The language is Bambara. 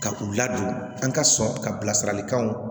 Ka u ladon an ka sɔn ka bilasiralikanw